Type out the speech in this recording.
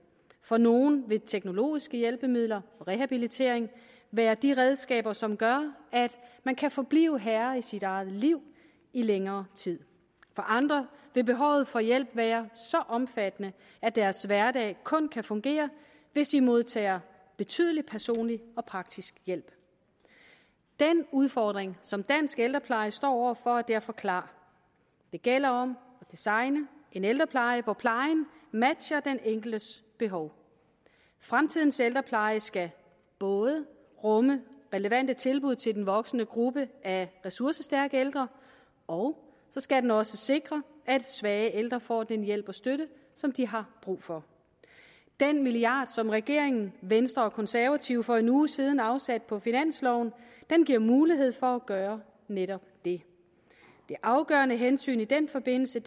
for nogle vil teknologiske hjælpemidler og rehabilitering være de redskaber som gør at man kan forblive herre i sit eget liv i længere tid for andre vil behovet for hjælp være så omfattende at deres hverdag kun kan fungere hvis de modtager betydelig personlig og praktisk hjælp den udfordring som dansk ældrepleje står over for er derfor klar det gælder om at designe en ældrepleje hvor plejen matcher den enkeltes behov fremtidens ældrepleje skal både rumme relevante tilbud til den voksende gruppe af ressourcestærke ældre og så skal den også sikre at svage ældre får den hjælp og støtte som de har brug for den milliard som regeringen venstre og konservative for en uge siden afsatte på finansloven giver mulighed for at gøre netop det det afgørende hensyn i den forbindelse